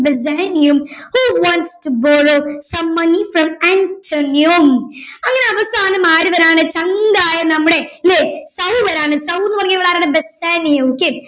Bassanio who wants to borrow some money from Antonio അങ്ങനെ അവസാനം ആര് വരാണെ ചങ്കായ നമ്മുടെ അല്ലെ സൗ വരാണ് സൗ എന്ന് പറഞ്ഞാൽ ഇവിടെ ആരാണ് ബസാനിയോ